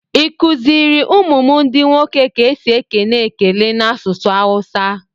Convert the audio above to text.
I kuziri ụmụ m ndi nwoke ka esi ekene ekele n'asụsụ awusa?